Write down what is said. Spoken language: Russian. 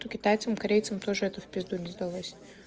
то китайцам корейцам тоже это в пизду не сдалось